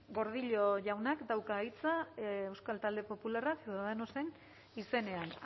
gordillo jaunak dauka hitza euskal talde popularra ciudadanosen izenean